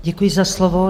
Děkuji za slovo.